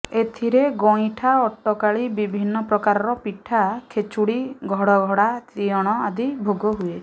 ଏଥିରେ ଗଇଁଠା ଅଟକାଳି ବିଭିନ୍ନ ପ୍ରକାରର ପିଠା ଖେଚୁଡ଼ି ଘଡ଼ଘଡ଼ା ତିଅଣ ଆଦି ଭୋଗ ହୁଏ